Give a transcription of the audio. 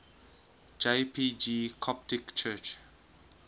jpg coptic church